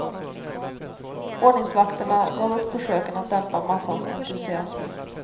Ordningsvakterna gav upp försöken att dämpa massans entusiasm.